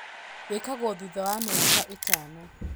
Gĩkagũo thutha wa mĩaka ĩtano.